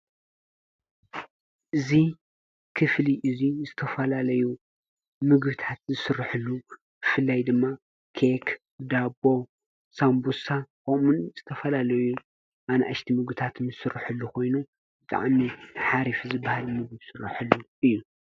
እዙ ክፍሊ እዙይ ዝተፈላለዩ ምግቢታት ዝስርሕሉ ብፍላይ ድማ ኬክ ዳቦ ሳምቡሳ ከምኡ እውን ዝተፈላለዩ ኣነእሽቲ ምግቢታት ዝስርሕሉ ኾይኑ ብጣዕሚ ሓሪፊ ዝበሃል ምግቢ ዝሥርሕሉ እዩ።